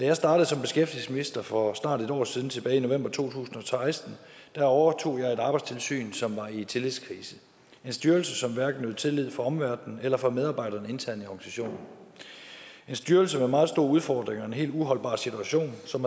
jeg startede som beskæftigelsesminister for snart et år siden tilbage i november to tusind og seksten overtog jeg et arbejdstilsyn som var i tillidskrise en styrelse som hverken nød tillid fra omverdenen eller fra medarbejderne internt i organisationen en styrelse med meget store udfordringer i en helt uholdbar situation som